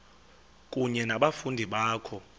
kunye nabafundi bakho